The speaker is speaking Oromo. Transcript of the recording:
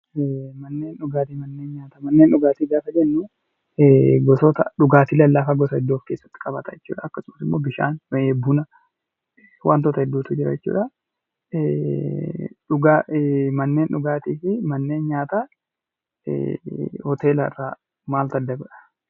Manneendhugaatii fi manneen nyaataa gaafa jennuu gosoota dhugaatii lallaafaa gosa hedduu of keessatti qabata jechuu dha. Akkasumas bishaan, buna fi wantoota hedduutu jira jechuu dha. Manneen dhugaatii fi manneen nyaataa Hoteela irraa maaltu adda godha?